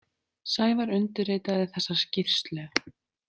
Sævar undirritaði þessa skýrslu.